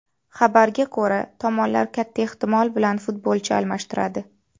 Xabarga ko‘ra, tomonlar katta ehtimol bilan futbolchi almashtiradi.